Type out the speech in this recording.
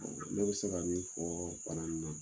Ne bɛ se ka min fɔ bana in na,